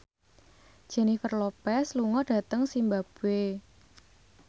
Jennifer Lopez lunga dhateng zimbabwe